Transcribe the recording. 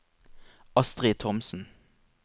Astrid Thomsen